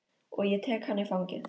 Og ég tek hana í fangið.